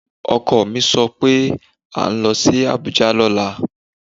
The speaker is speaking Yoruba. Ọkọ mi sọ pé à ń lọ sí Abuja lọ́la